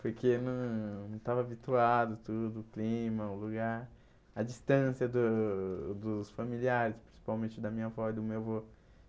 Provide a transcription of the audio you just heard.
Porque não estava habituado, tudo, o clima, o lugar, a distância do dos familiares, principalmente da minha avó e do meu avô.